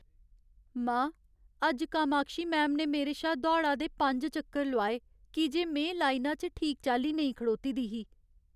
मां, अज्ज कामाक्षी मैम ने मेरे शा दौड़ा दे पंज चक्कर लोआए की जे में लाइना च ठीक चाल्ली नेईं खड़ोती दी ही।